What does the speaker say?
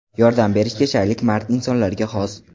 Yordam berishga shaylik mard insonlarga xos.